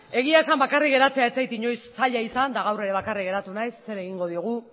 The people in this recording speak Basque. egia esan bakarrik geratzea ez zait inoiz zaila izan eta gaur ere bakarrik geratu naiz zer egingo diogu